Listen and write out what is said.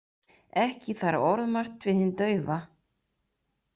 Ekki þarf orðmargt við hinn daufa.